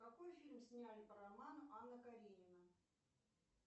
какой фильм сняли по роману анна каренина